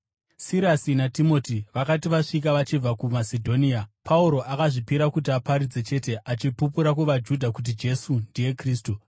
Sirasi naTimoti vakati vasvika vachibva kuMasedhonia, Pauro akazvipira kuti aparidze chete, achipupura kuvaJudha kuti Jesu ndiye Kristu.